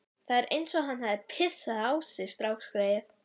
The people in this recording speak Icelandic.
Það er eins og hann hafi pissað á sig strákgreyið.